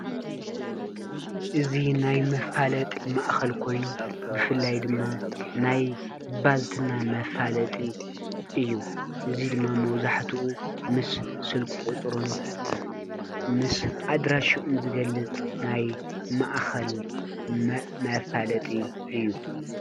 እዚ ናይ መፋለጢ ማእከል ኮይኑ ብፍላይ ድማ ናይ ባልትና መፋለጢ እዩ። እዚ ድማ መብዛሕቲኡ ምስ ስልኪ ቁፁሩን ምስ ኣድራሽኡን ዝገልፅ ናይ ማእከል መፋለጢ እዩ።